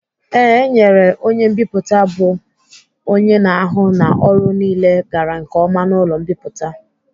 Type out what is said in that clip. E nwere onye mbipụta bụ onye na-ahụ na ọrụ niile gara nke ọma n'ụlọ mbipụta.